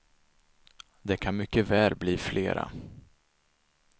Det kan mycket väl bli flera.